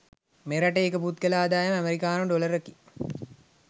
මෙරට ඒක පුද්ගල ආදායම ඇමෙරිකානු ඩොලර් කි